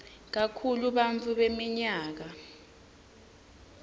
kakhulu bantfu beminyaka